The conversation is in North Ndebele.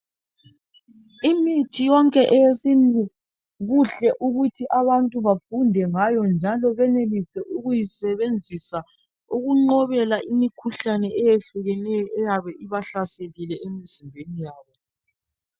Imithi yonke eyesintu kuhle ukuthi abantu bafunde ngayo njalo benelise ukuyisebenzisa ukunqobela imikhuhlane eyehlukeneyo eyabe ibahlaselile emzimbeni yabo.